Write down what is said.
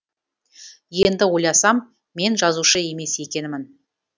енді ойласам мен жазушы емес екенмін